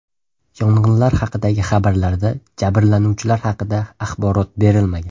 Yong‘inlar haqidagi xabarlarda jabrlanuvchilar haqida axborot berilmagan.